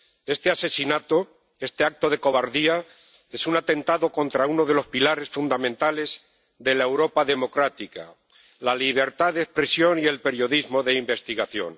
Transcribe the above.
Este asesinato, este acto de cobardía, es un atentado contra uno de los pilares fundamentales de la Europa democrática la libertad de expresión y el periodismo de investigación.